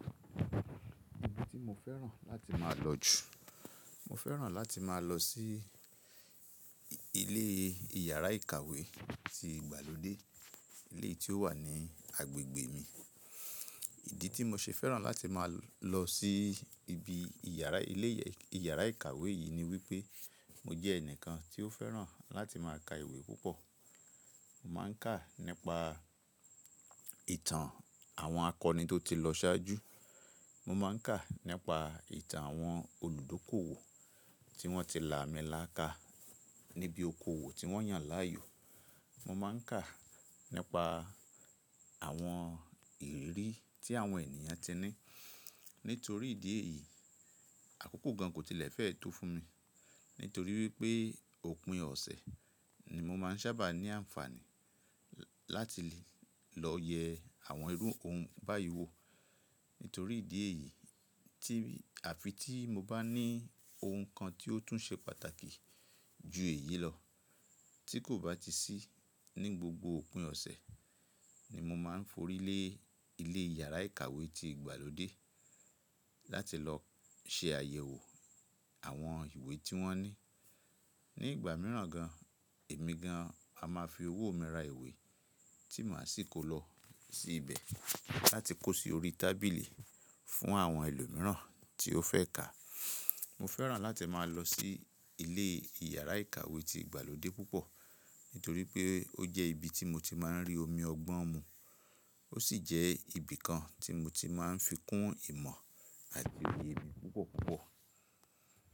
Ibi tí mo fẹ́ràn láti máa lọ jù, mo fẹ́ràn láti máa lọ sí ilé ìyàrá-ìkàwé ti ìgbàlódé éleyii tí ó wà ní agbègbè mi. Ìdí tí mo ṣe fẹ́ràn láti máa lọ sí ibi ìyàrá ilé ìyàrá-ìkàwé yìí ni wípé mo jẹ́ ẹnìkan tí ó fẹ́ràn láti máa ka ìwé púpọ̀. Mo máa ń kà nípa ìtàn àwọn akọni tó ti lọ ṣáájú. Mo máa ń kà nípa ìtàn àwọn olùdókòwò tí wọ́n ti làmíláka níbi oko òwò tí wọ́n yàn láàyò. Mo máa ń kà nípa àwọn ìrírí tí àwọn ènìyàn ti ní. Nítorí ìdí èyí, àkókò gan kò tilẹ̀ fẹ́ tó fún mi. Nítorí wípé òpin ọ̀sẹ̀ ni mo máa ń sábà ní àǹfààní láti lè lọ yẹ àwọn irú ohun báyii wo. Nítorí ìdí èyí tí àfi tí mo bá ní ohun kan tí ó tún ṣe pàtàkì ju èyí lọ tí kò bá ti sí ní gbogbo òpin ọ̀sẹ̀ ni mo máa ń forí lé ilé ìyàrá-ìkàwé ti ìgbàlódé láti lọ ṣe àyẹ̀wò àwọn ìwé tí wọ́n ní. Ni ìgbà mìíràn gan, èmi gan á máa fi owó mi ra ìwé tí màá sì kó lọ sí ibẹ̀ láti kó sí orí tábìlì fún àwọn ẹlòmíràn tí ó fẹ́ kà. Mo fẹ́ràn láti máa lọ sí ilé ìyàrá-ìkàwé ti ìgbàlódé púpọ̀ nítorí pé ó jẹ́ ibi tí mo ti máa ń rí omi ọgbọ́n mu. Ó sì jẹ́ ibi kan tí mo ti máa ń fi kún ìmọ̀ àti òye mi púpọ̀ púpọ̀.